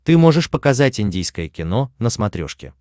ты можешь показать индийское кино на смотрешке